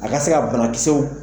A ka se ka banakisɛw